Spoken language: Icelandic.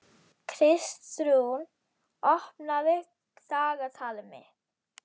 Kristrún, opnaðu dagatalið mitt.